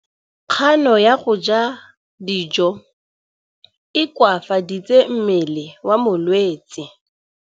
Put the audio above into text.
Kganô ya go ja dijo e koafaditse mmele wa molwetse.